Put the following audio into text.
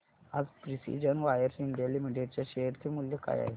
आज precision wires India limited च्या share चे मूल्य काय आहे